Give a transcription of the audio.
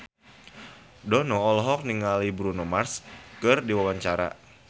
Dono olohok ningali Bruno Mars keur diwawancara